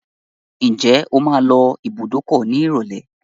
Ǹjẹ́ o máa lọ ibùdókọ̀ nírọ̀lẹ́?